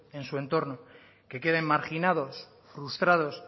en su entorno que queden marginados frustrados